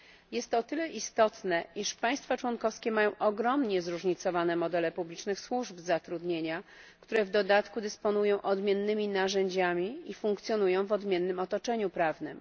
Jest to o tyle istotne, iż państwa członkowskie mają ogromnie zróżnicowane modele publicznych służb zatrudnienia, które w dodatku dysponują odmiennymi narzędziami i funkcjonują w odmiennym otoczeniu prawnym.